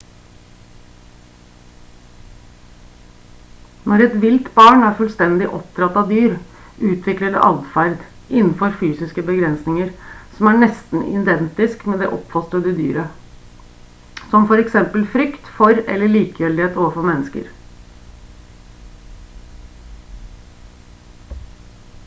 når et vilt barn er fullstendig oppdratt av dyr utvikler det atferd innenfor fysiske begrensninger som er nesten identisk med det oppfostrende dyret som for eksempel frykt for eller likegyldighet overfor mennesker